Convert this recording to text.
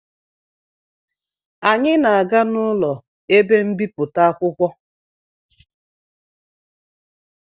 Anyị na-aga n'ụlọ ebe mbipụta akwụkwọ